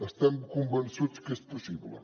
estem convençuts que és possible